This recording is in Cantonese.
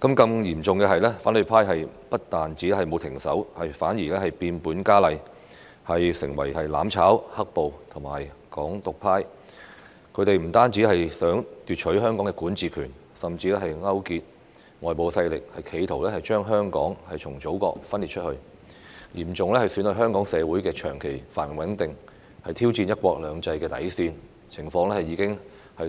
更嚴重的是，反對派不但沒有停止，反而變本加厲，成為"攬炒"、"黑暴"和"港獨"派，他們不但想奪取香港的管治權，甚至勾結外部勢力，企圖將香港從祖國分裂出去，嚴重損害香港社會的長期繁榮穩定，挑戰"一國兩制"的底線，情況已經